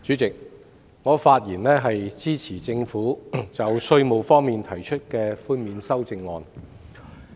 主席，我發言支持政府就稅務寬免提出的修正案。